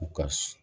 U ka